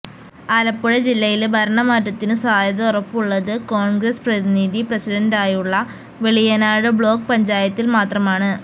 ആലപ്പുഴ ജില്ലയില് ഭരണ മാറ്റത്തിനു സാധ്യത ഉറപ്പുള്ളത് കോണ്ഗ്രസ് പ്രതിനിധി പ്രസിഡന്റായുള്ള വെളിയനാട് ബ്ലോക്ക് പഞ്ചായത്തില് മാത്രമാണ്